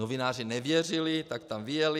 Novináři nevěřili, tak tam vyjeli.